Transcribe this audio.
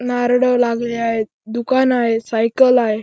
नारळ लागली आहेत दुकान आहे सायकल आहे.